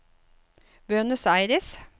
Buenos Aires